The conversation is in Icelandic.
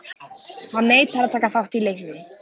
Hann neitar að taka þátt í leiknum.